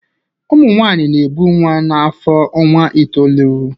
Ụmụ nwanyị na-ebu nwa n'afọ ọnwa itoolu